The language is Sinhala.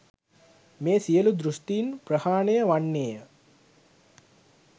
මේ සියලු දෘෂ්ටින් ප්‍රහාණය වන්නේය.